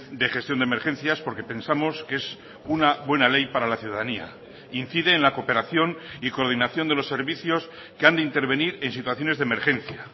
de gestión de emergencias porque pensamos que es una buena ley para la ciudadanía incide en la cooperación y coordinación de los servicios que han de intervenir en situaciones de emergencia